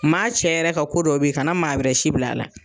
Maa cɛ yɛrɛ ka ko dɔw be yen, ka na maa wɛrɛ si bila a la.